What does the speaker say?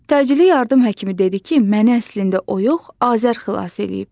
Təcili yardım həkimi dedi ki, məni əslində o yox, Azər xilas eləyib.